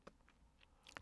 DR2